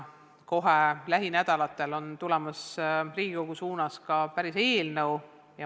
Kohe lähinädalatel tuleb Riigikogu menetlusse ka päris eelnõu.